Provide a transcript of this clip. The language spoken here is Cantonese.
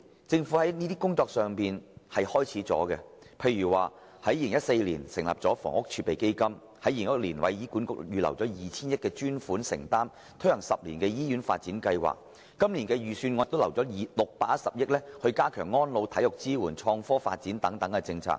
政府在過去數年已展開有關工作，例如在2014年成立房屋儲備金，在2016年為醫院管理局預留 2,000 億元的專款承擔，以推行 "10 年醫院發展計劃"，而今年的預算案亦已預留610億元，加強安老、體育支援、創科發展等政策。